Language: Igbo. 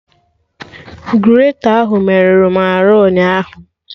Greta ahụ merụrụ m arụ ụnyaahụ